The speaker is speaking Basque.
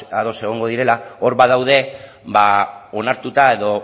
ados egongo direla hor badaude onartuta edo